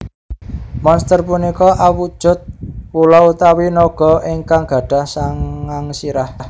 Monster punika awujud ula utawi naga ingkang gadhah sangang sirah